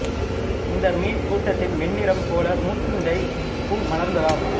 இந்த மீன் கூட்டத்தின் வெண்ணிறம் போல முசுண்டைப் பூ மலர்ந்ததாம்